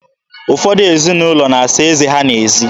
Ụfọdụ ezinụlọ na-asa eze ha n'ezi.